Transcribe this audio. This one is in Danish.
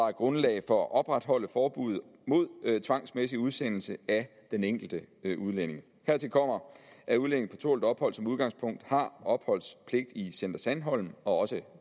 er grundlag for at opretholde forbuddet mod tvangsmæssig udsendelse af den enkelte udlænding hertil kommer at udlændinge på tålt ophold som udgangspunkt har opholdspligt i center sandholm og også